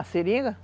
A seringa?